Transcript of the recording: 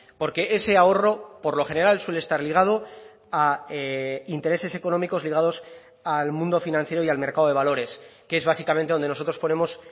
porque ese ahorro por lo general suele estar ligado a intereses económicos ligados al mundo financiero y al mercado de valores que es básicamente donde nosotros ponemos